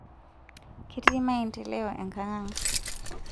ketii maendeleo enkangang